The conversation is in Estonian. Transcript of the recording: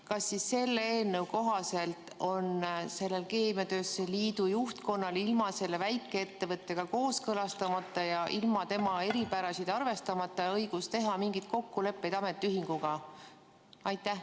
Kas selle eelnõu kohaselt on keemiatööstuse liidu juhtkonnal ilma selle väikeettevõttega kooskõlastamata ja ilma tema eripärasid arvestamata õigus teha mingeid kokkuleppeid ametiühinguga?